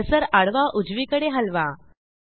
cursor आडवा उजवीकडे हलवा